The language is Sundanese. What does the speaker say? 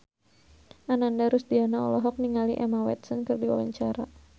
Ananda Rusdiana olohok ningali Emma Watson keur diwawancara